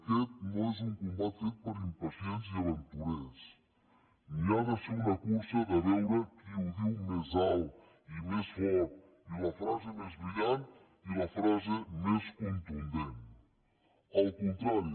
aquest no és un combat fet per a impacients i aventurers ni ha de ser una cursa de veure qui ho diu més alt i més fort i la frase més brillant i la frase més contundent al contrari